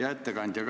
Hea ettekandja!